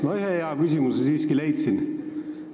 Ma ühe hea küsimuse siiski leidsin.